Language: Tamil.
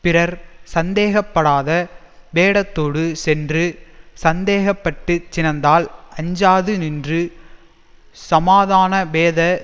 பிறர் சந்தேகப்படாத வேடத்தோடு சென்று சந்தேகப்பட்டுச் சினந்தால் அஞ்சாது நின்று சமாதானபேத